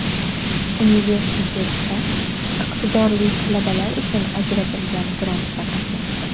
Universitetda iqtidorli talabalar uchun ajratilgan grantda qatnashdim.